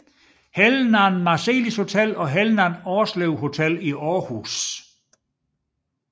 Helnan Marselis Hotel og Helnan Aarslev Hotel i Aarhus